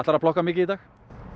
að plokka mikið í dag